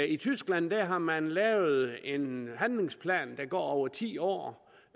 i tyskland har man lavet en handlingsplan der går over ti år